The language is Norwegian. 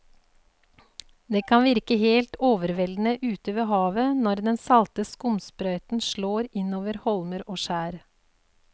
Det kan virke helt overveldende ute ved havet når den salte skumsprøyten slår innover holmer og skjær.